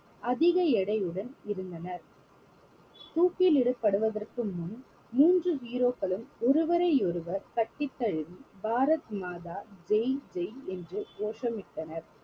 அதிக எடையுடன் இருந்தனர் தூக்கிலிடப்படுவதற்கு முன் மூன்று hero க்களும் ஒருவரை ஒருவர் கட்டித்தழுவி பாரத் மாதா ஜெய் ஜெய் என்று கோஷமிட்டனர்